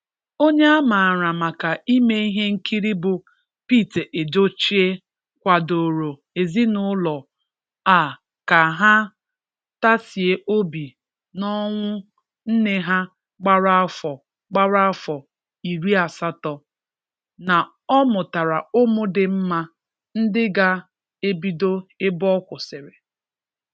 Onye a maara maka ime ihe nkiri bụ Pete Edochie, kwadoro ezinụlọ a ka ha tasie obi n'ọnwụ nne ha gbara afọ gbara afọ iri asatọ. Na ọ mụtara ụmụ dị mma ndị ga ebido ebe ọ kwụsịrị.